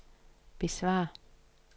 besvar